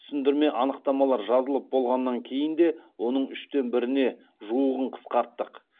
түсіндірме анықтамалар жазылып болғаннан кейін де оның үштен біріне жуығын қысқарттық